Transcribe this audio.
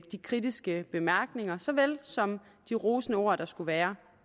de kritiske bemærkninger så vel som de rosende ord der skulle være